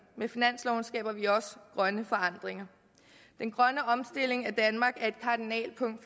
med finansloven skaber vi også grønne forandringer den grønne omstilling af danmark er et kardinalpunkt